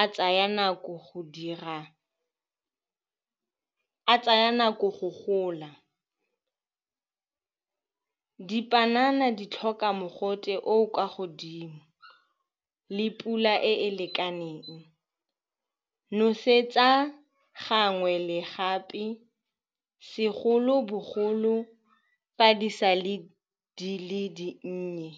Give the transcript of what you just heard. a tsaya nako go dira, a tsaya nako go gola. Dipanana di tlhoka mogote o o kwa godimo le pula e e lekaneng, nosetsa gangwe le gape, segolo-bogolo fa di sa le di le dinnye.